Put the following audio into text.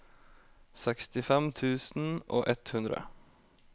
sekstifem tusen og ett hundre